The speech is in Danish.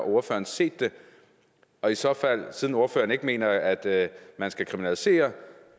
ordføreren set det og i så fald siden ordføreren ikke mener at man skal kriminalisere